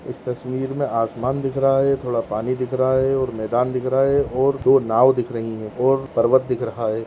इस तस्वीर मे आसमान दिख रहा है थोड़ा पानी दिख रहा है और मैदान दिख रहा है और दो नाव दिख रही है और पर्वत दिख रहा है।